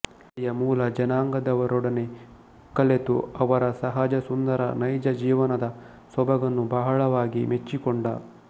ಅಲ್ಲಿಯ ಮೂಲ ಜನಾಂಗದವರೊಡನೆ ಕಲೆತು ಅವರ ಸಹಜಸುಂದರ ನೈಜಜೀವನದ ಸೊಬಗನ್ನು ಬಹಳವಾಗಿ ಮೆಚ್ಚಿಕೊಂಡ